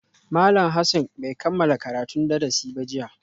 Malam Hassan bai kammala karatun darasi ba jiya